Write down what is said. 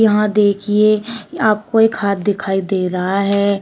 वहां देखीए आपको एक हाथ दिखाई दे रहा है।